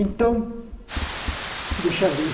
Então, deixa eu ver.